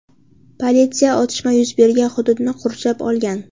Politsiya otishma yuz bergan hududni qurshab olgan.